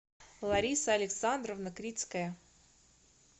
лариса александровна крицкая